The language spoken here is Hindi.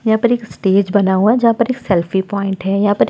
यहाँ पर एक स्टेज बना हुआ है जहाँ पर एक सेल्फी पॉइंट है। यहाँ पर --